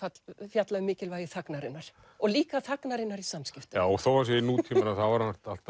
fjalla um mikilvægi þagnarinnar og líka þagnarinnar í samskiptum þó hann sé í nútímanum er